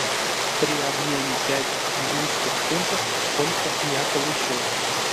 при обмене пять английских фунтов сколько я получу